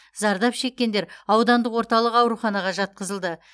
зардап шеккендер аудандық орталық ауруханаға жатқызылды